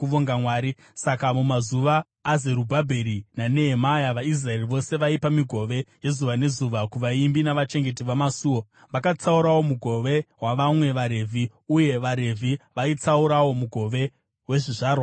Saka mumazuva aZerubhabheri naNehemia, vaIsraeri vose vaipa migove yezuva nezuva kuvaimbi navachengeti vamasuo. Vakatsaurawo mugove wavamwe vaRevhi, uye vaRevhi vaitsaurawo mugove wezvizvarwa zvaAroni.